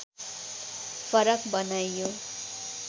फरक बनाइयो